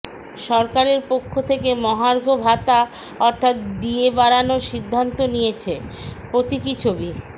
সরকারের পক্ষ থেকে মহার্ঘ ভাতা অর্থাৎ ডিএ বাড়ানোর সিদ্ধান্ত নিয়েছে প্রতীকী ছবি